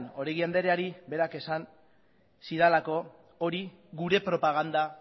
oregi andreari berak esan zidalako hori gure propaganda